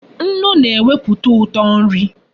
Nnu na-eweputa uto nri